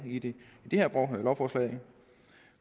i det her lovforslag